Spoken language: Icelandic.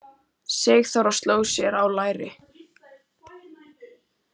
Sigþóra sló sér á lær.